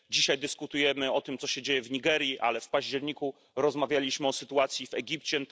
Dzisiaj dyskutujemy o tym, co się dzieje w Nigerii, ale w październiku rozmawialiśmy o sytuacji w Egipcie.